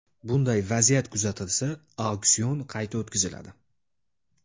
Bunday vaziyat kuzatilsa, auksion qayta o‘tkaziladi.